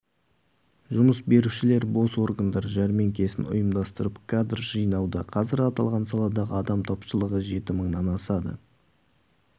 жұмыс берушілер бос орындар жәрменкесін ұйымдастырып кадр жинауда қазір аталған саладағы адам тапшылығы жеті мыңнан асады